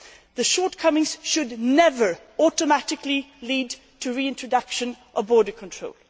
The shortcomings should never automatically lead to the reintroduction of border control.